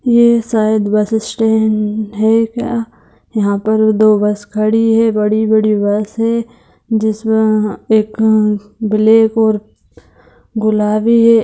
ये शायद bus stand है यहाँ पर दो बस खड़ी है बड़ी-बड़ी बस है जिसमें एक अ ब्लैक और गुलाबी है।